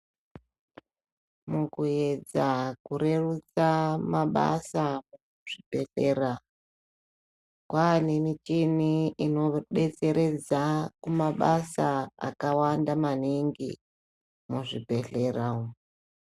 Mukuedza kurerutsa mabasa, kuzvibhendlera kwaane michini inodetseredza kumabasa akawanda maningi muzvibhedhlera umu.